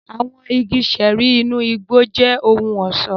Àwọn igi ṣẹẹri inú igbó jẹ ohùn ọṣọ.